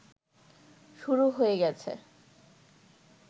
শুরু হয়ে গেছে